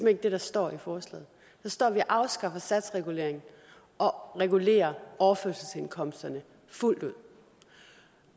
ikke det der står i forslaget der står at vi afskaffer satsreguleringen og regulerer overførselsindkomsterne fuldt ud